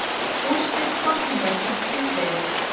Úrslit kosninga kynnt síðdegis